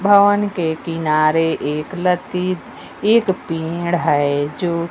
भवन के किनारे एक लत्ती एक पेड़ है जो--